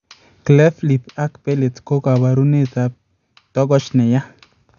Cleft lip ak palate ko kabureet ab togoch nayaa